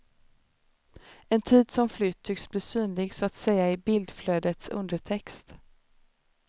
En tid som flytt tycks bli synlig så att säga i bildflödets undertext.